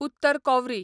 उत्तर कॉवरी